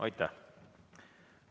Aitäh!